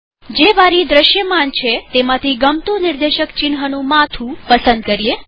જે બારી દ્રશ્યમાન છેતેમાંથી ગમતું નિર્દેશક ચિન્હનું માથું પસંદ કરીએ